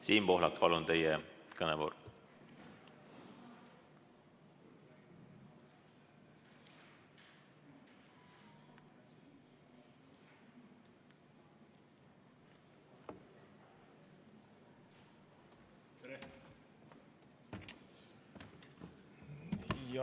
Siim Pohlak, palun, teie kõnevoor!